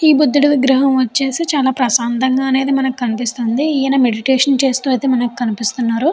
ఈ బుద్దుడి విగ్రహం వచ్చేసి చాన ప్రశాంతంగా అనేది మనకి కనిపిస్తుంది. ఈయన మెడిటేషన్ చేస్తూ అయితే మనకి కనిపిస్తున్నారు.